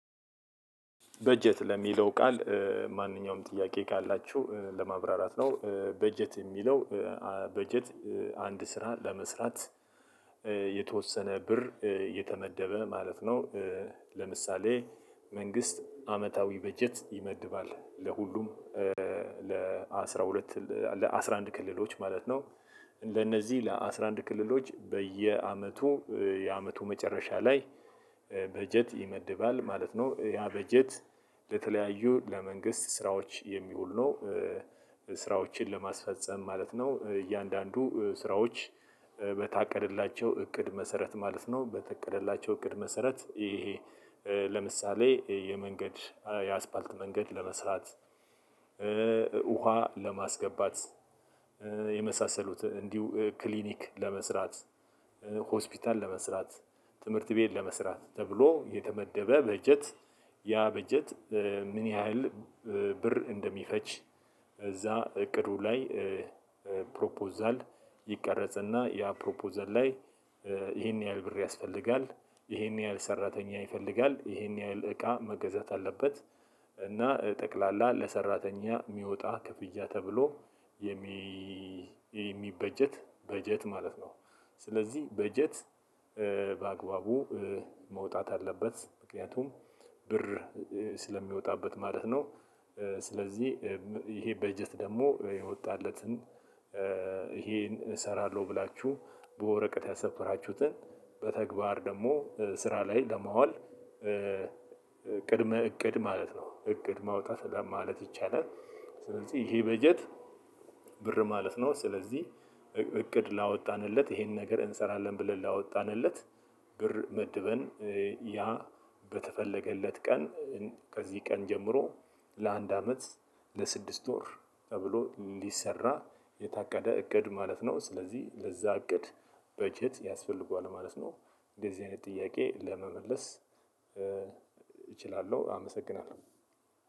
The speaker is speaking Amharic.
በጀት ለሚለው ቃል። ማንኛውም ጥያቄ ካላችሁ ለማብራራት ነው በጀት የሚለው። በጀት አንድ ስራ ለመስራት የተወሰነ ብር የተመደበ ማለት ነው። ለምሳሌ መንግስት አመታዊ በጀት ይመድባል ለሁሉም ለአስራ ሁለት ለአስራ አንድ ክልሎች ማለት ነው። ለነዚህ ለአስራ አንድ ክልሎች በየዓመቱ የአመቱ መጨረሻ ላይ በጀት ይመድባል ማለት ነው። ያበጀት ለተለያዩ ለመንግሥት ስራዎች የሚውል ነው። ስራዎችን ለማስፈፀም ማለት ነው። እያንዳንዱ ስራዎች በታቀደላቸው እቅድ መሰረት ማለት ነው። በታቀደላቸው እቅድ መሰረት ይሄ ለምሳሌ የመንገድ የአስፓልት መንገድ ለመስራት። ውሃ ለማስገባት የመሳሰሉት እንዲሁ ክሊኒክ ለመስራት ሆስፒታል ለመስራት ትምህርት ቤት ለመስራት ተብሎ የተመደበ በጀት። ያ በጀት ምን ያህል ብር እንደሚፈጅ እዛ እቅዱ ላይ ፕሮፖዛል ይቀረጽና ያ ፕሮፖዛል ላይ ይሄን ያህል ብር ያስፈልጋል ይሄን ያህል ሰራተኛ ይፈልጋል ይሄን ያህል እቃ መገዛት አለበት እና ጠቅላላ ለሰራተኛ የሚወጣ ክፍያ ተብሎ የሚበጀት በጀት ማለት ነው። ስለዚህ በጀት በአግባቡ መውጣት አለበት ምክንያቱም ብር ስለሚወጣበት ማለት ነው። ስለዚህ ይሄ በጀት ደግሞ የወጣለትን ይሄን እሰራለሁ ብላችሁ በወረቀት ያሰፈራችሁትን በተግባር ደግሞ ስራ ላይ ለማዋል ቅድመ እቅድ ማለት ነው እቅድ ማውጣት ለማለት ይቻላል። ስለዚህ ይሄ በጀት ብር ማለት ነው። ስለዚህ እቅድ ላወጣንለት ይሄን ነገር እንሰራለን ብለን ላወጣንለት ብር መድበን ያ በተፈለገለት ቀን ከዚህ ቀን ጀምሮ ለአንድ አመት ለስድስት ወር ተብሎ እንዲሰራ የታቀደ እቅድ ማለት ነው። ስለዚህ ለዛ እቅድ በጀት ያስፈልገዋል ማለት ነው። እንደዚህ አይነት ጥያቄ ለመመለስ እችላለሁ አመሰግናለሁ።